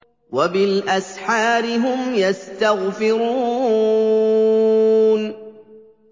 وَبِالْأَسْحَارِ هُمْ يَسْتَغْفِرُونَ